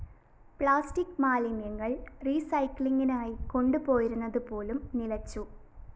plastic മാലിന്യങ്ങള്‍ റീസൈക്ലിങ്ങിനായി കൊണ്ടുപോയിരുന്നതുപോലും നിലച്ചു